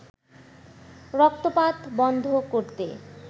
রক্তপাত বন্ধ করতে